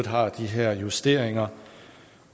har de her justeringer